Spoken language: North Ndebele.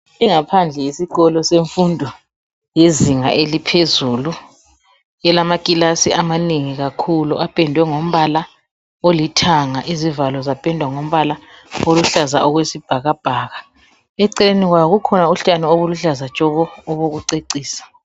Ingaphandle yesikolo semfundo yezinga eliphezulu elamakilasi amanengi kakhulu apendwe ngombala olithanga izivalo zapendwa ngombala oluhlaza okwesibhakabhaka eceleni kwawo kukhona utshani obuluhlaza tshoko obokucecisa.